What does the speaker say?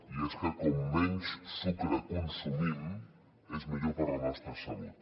i és que com menys sucre consumim és millor per a la nostra salut